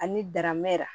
Ani daramɛrɛ